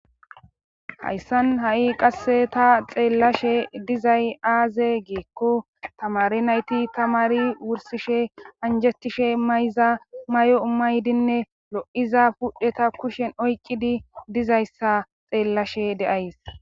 Hayssan ha7i qasse ta xeellashe dizay aaze geekko tamari nayti tamari wursishe anjetishe mayza may7o maydinne lo7iza pudheta kushen oycidi dizayssa xeellashe deays